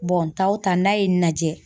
n taa o taa n'a ye n lajɛ.